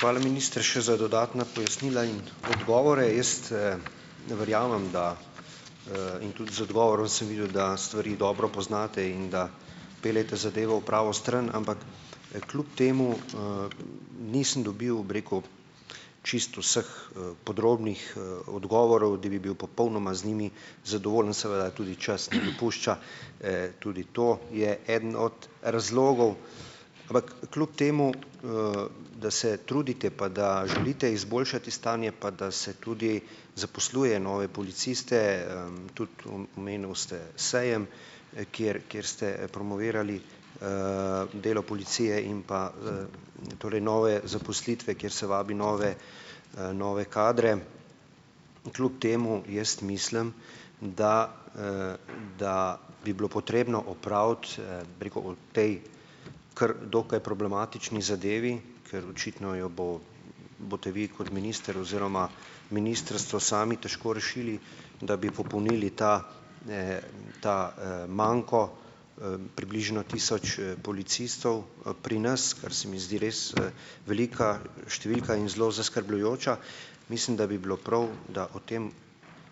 Hvala, minister še za dodatna pojasnila in odgovore. Jaz, ne verjamem, da, in tudi z odgovorom sem videl, da stvari dobro poznate in da peljete zadevo v pravo stran, ampak, kljub temu, nisem dobil, bi rekel, čisto vseh, podrobnih, odgovorov, da bi bil popolnoma z njimi zadovoljen, seveda tudi čas ne dopušča, tudi to, je eden od razlogov. Ampak kljub temu, da se trudite, pa da želite izboljšati stanje, pa da se tudi zaposluje nove policiste, tudi omenili ste sejem, kjer kjer ste promovirali, delo policije in pa, torej nove zaposlitve, kjer se vabi nove, nove kadre, kljub temu jaz mislim, da, da bi bilo potrebno opraviti, bi rekel o tej kar dokaj problematični zadevi, ker očitno jo bo boste vi kot minister oziroma ministrstvo sami težko rešili, da bi popolnili ta, ta, manko, približno tisoč, policistov, pri nas, kar se mi zdi res, velika številka in zelo zaskrbljujoča. Mislim, da bi bilo prav, da o tem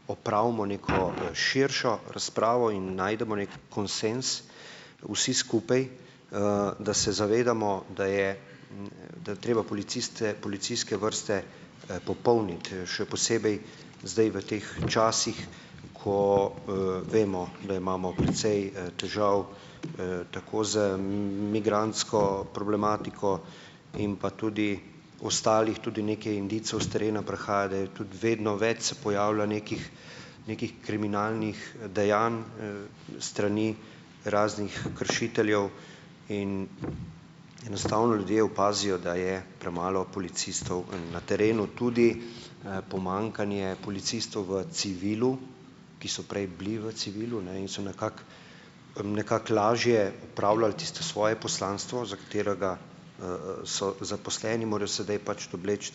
opravimo neko širšo razpravo in najdemo neki konsenz vsi skupaj, da se zavedamo, da je, da je treba policiste, policijske vrste, popolniti, še posebej zdaj v teh časih, ko, vemo, da imamo precej, težav, tako z migrantsko problematiko in pa tudi ostalih, tudi nekaj indicev s terena prihaja, da je tudi vedno več se pojavlja nekih nekih kriminalnih, dejanj, s strani raznih kršiteljev in enostavno ljudje opazijo, da je premalo policistov na terenu, tudi, pomanjkanje policistov v civilu, ki so prej bili v civilu in so nekako, nekako lažje opravljali tisto svoje poslanstvo, za katerega, so zaposleni, morajo sedaj pač obleči,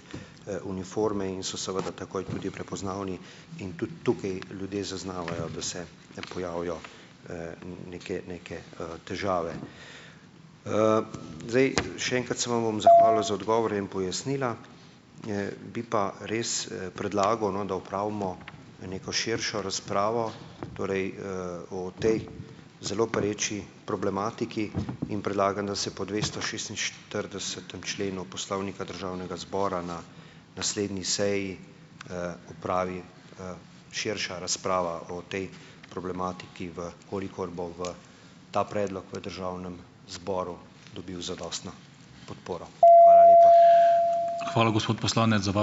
uniforme in so seveda takoj tudi prepoznavni in tudi tukaj ljudje zaznavajo, da se pojavijo, neke neke, težave. Zdaj. Še enkrat se vam bom zahvalil za odgovore in pojasnila. Bi pa res predlagal, no, da opravimo neko širšo razpravo, torej, o tej zelo pereči problematiki in predlagam, da se po dvesto šestinštiridesetem členu Poslovnika Državnega zbora na naslednji seji, opravi, širša razprava o tej problematiki, v kolikor bo v ta predlog v državnem zboru dobil zadostno podporo. Hvala lepa.